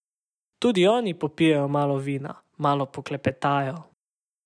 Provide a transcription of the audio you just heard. Tudi oni popijejo malo vina, malo poklepetajo ...